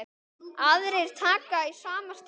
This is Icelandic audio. Aðrir taka í sama streng.